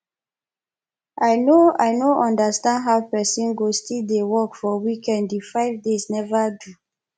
i no i no understand how person go still dey work for weekend the five days never do